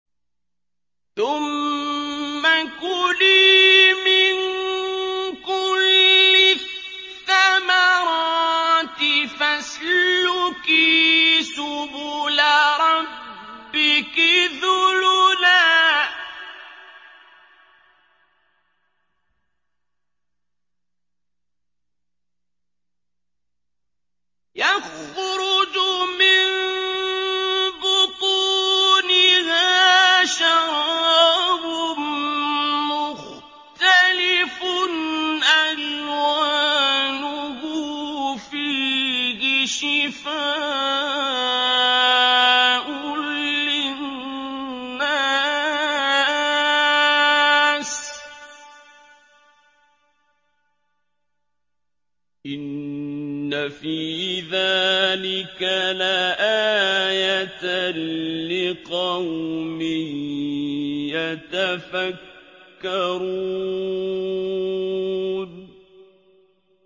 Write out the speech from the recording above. ثُمَّ كُلِي مِن كُلِّ الثَّمَرَاتِ فَاسْلُكِي سُبُلَ رَبِّكِ ذُلُلًا ۚ يَخْرُجُ مِن بُطُونِهَا شَرَابٌ مُّخْتَلِفٌ أَلْوَانُهُ فِيهِ شِفَاءٌ لِّلنَّاسِ ۗ إِنَّ فِي ذَٰلِكَ لَآيَةً لِّقَوْمٍ يَتَفَكَّرُونَ